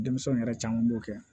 Denmisɛnw yɛrɛ caman b'o kɛ